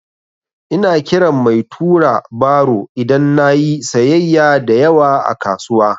Ina kiran mai tura baro idan na yi sayyaya da yawa a kasuwa.